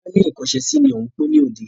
Tọ́lá ni ìkọ́ṣẹsì ni òun má pín ni òde.